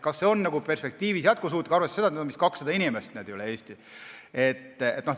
Kas see on perspektiivis jätkusuutlik, arvestades, et neid on ligikaudu 200 inimest üle Eesti?